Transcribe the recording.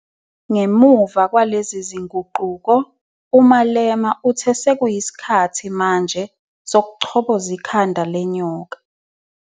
Ngemuva kwalezi zinguquko, uMalema uthe sekuyisikhathi manje 'sokuchoboza ikhanda lenyoka ".